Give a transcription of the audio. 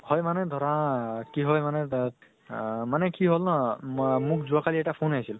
হয় মানে ধৰা, কি হয় মানে তাত মানে কি হʼল ন মোক যোৱা কালি এটা phone আহিছিল ।